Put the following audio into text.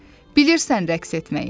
Bilirsən rəqs etməyi?